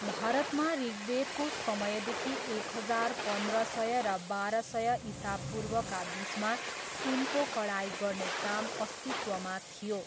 भारतमा ऋग्वेदको समयदेखि एक हजार पन्ध्र सय र बाह्र सय इसापूर्वका बिचमा सुनको कढाई गर्ने काम अस्तित्वमा थियो।